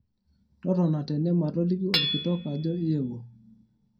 totona tene matoliki olkitok ajo iyeuo